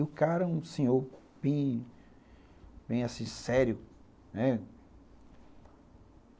E o cara, um senhor bem, assim, sério, né?